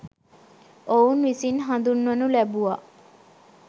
ඔවුන් විසින් හඳුන්වනු ලැබුවා